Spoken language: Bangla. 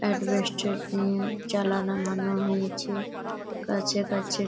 এডভেস্টার দিয়ে জলানা বানানো হয়েছে। কাছে কাছে--